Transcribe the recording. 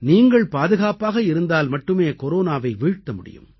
நீங்கள் பாதுகாப்பாக இருந்தால் மட்டுமே கொரோனாவை வீழ்த்த முடியும்